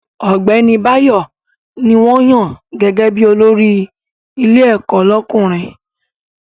Ọ̀gbẹ́ni Báyọ̀ ní wọ́n yàn gẹ́gẹ́ bí olórí ilé ẹ̀kọ́ lọ́kùnrin